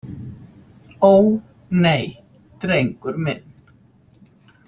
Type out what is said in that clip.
Ó, nei, drengur minn.